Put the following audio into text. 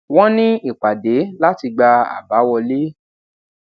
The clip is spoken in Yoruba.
wón ní ìpàdé láti gba àbá wọlé